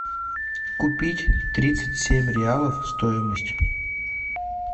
купить тридцать семь реалов стоимость